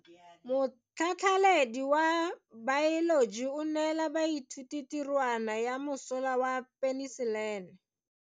Motlhatlhaledi wa baeloji o neela baithuti tirwana ya mosola wa peniselene.